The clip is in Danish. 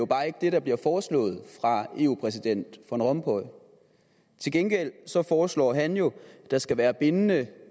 bare ikke det der bliver foreslået af eu præsident van rompuy til gengæld foreslår han jo at der skal være bindende